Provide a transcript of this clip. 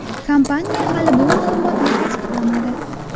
Kompaniya hali bu ma’lumotni tasdiqlamadi.